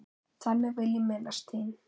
Þannig vil ég minnast þín.